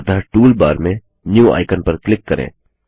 अतः टूलबार मेंNew आइकन पर क्लिक करें